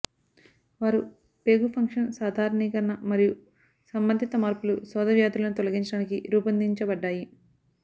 వారు పేగు ఫంక్షన్ సాధారణీకరణ మరియు సంబంధితమార్పులు శోథ వ్యాధులను తొలగించడానికి రూపొందించబడ్డాయి